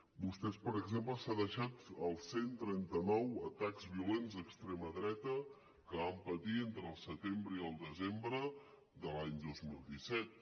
vostè per exemple s’han deixat els cent i trenta nou atacs violents d’extrema dreta que vam patir entre el setembre i el desembre de l’any dos mil disset